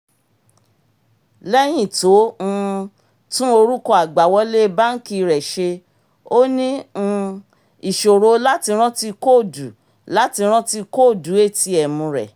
lẹ́yìn tó um tún orúkọ àgbàwọlé banki rẹ̀ ṣe ó ní um ìṣòro láti rántí kóòdù láti rántí kóòdù atm rẹ̀